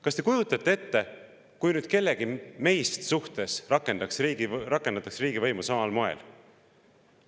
Kas te kujutate ette, kui meist kellegi suhtes rakendataks riigivõimu samal moel?